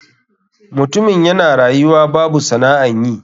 Mutumin yana rayuwa babu sana'an yi.